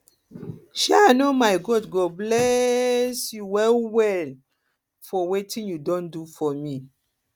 um i know my god go bless um you well well for um wetin you don do for me